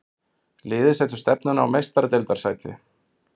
Liðið setur stefnuna á Meistaradeildarsæti.